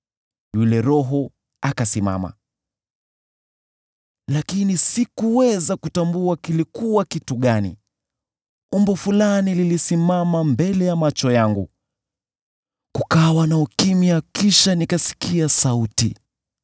Yule roho akasimama, lakini sikuweza kutambua kilikuwa kitu gani. Umbo fulani lilisimama mbele ya macho yangu, kukawa na ukimya kisha nikasikia sauti: